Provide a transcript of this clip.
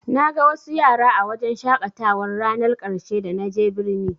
Naga wasu yara a wajen shaƙatawar rannar ƙarshe da na je birni.